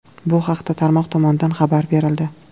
Bu haqda tarmoq tomonidan xabar berildi .